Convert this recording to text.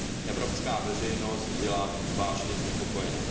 evropská veřejnost byla vážně znepokojena.